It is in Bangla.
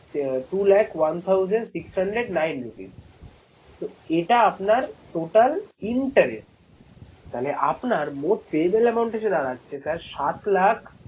আহ two lakh one thousand six hundred nine rupees তো এটা আপনার total interest মানে আপনার মোট payable amount এসে দাঁড়াচ্ছে sir সাত লাখ